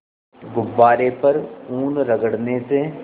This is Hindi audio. गुब्बारे पर ऊन रगड़ने से